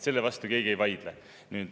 Selle vastu keegi ei vaidle.